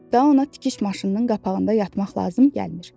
Daha ona tikiş maşınının qapağında yatmaq lazım gəlmir.